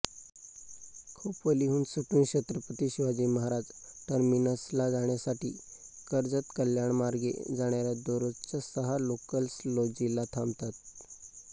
खोपोलीहून सुटून छत्रपती शिवाजी महाराज टर्मिनसला जाण्यासाठी कर्जतकल्याणमार्गे जाणाऱ्या दररोजच्या सहा लोकल्स लौजीला थांबतात